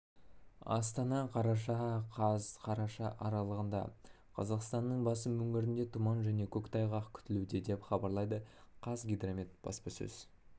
астана қараша қаз қараша аралығында қазақстанның басым өңірінде тұман және көктайғақ күтілуде деп хабарлады қазгидромет баспасөз